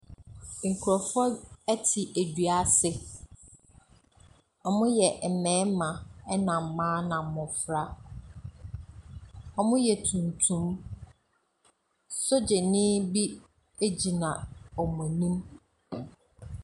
Nkrɔfoɔ te dua se. Wɔyɛ mmarima na mmaa na mmofra. Wɔyɛ tuntum. Sogyani bi gyina wɔn anim.